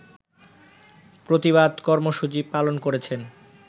প্রতিবাদ কর্মসূচি পালন করেছেন